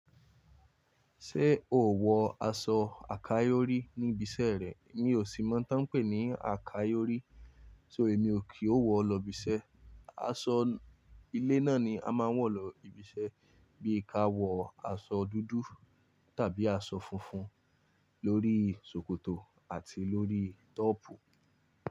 Ṣé o wọ aṣọ àkáyorí níbi iṣẹ́ rẹ? Mi ò sì mọ́ n tán pé ní àkáyorí, so èmi ò kí ó wọ lọ ibi iṣẹ́. Aṣọ ilé náà ni a máa ń wọ̀ lọ ibi iṣẹ́ bí i ka wọ aṣọ dúdú tàbí aṣọ funfun lórí ṣòkòtò àti lórí tọ́pù.